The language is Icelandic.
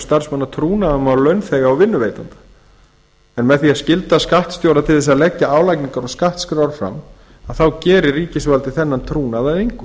starfsmanna trúnaðarmál launþega og vinnuveitanda með því að skylda skattstjóra til að leggja álagningar og skattskrár fram gerir ríkisvaldið þennan trúnað að engu